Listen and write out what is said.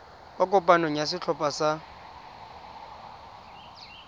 kwa kopanong ya setlhopha sa